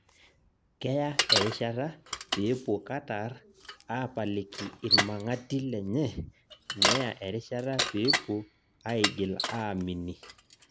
Keya erishata peepuo Katar aapaliki irmang'ati lenye neya erishata pepuo aigil aamini